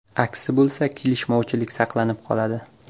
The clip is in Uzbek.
Aksi bo‘lsa, kelishmovchilik saqlanib qoladi.